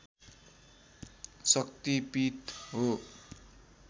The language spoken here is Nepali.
शक्ति पीठ हो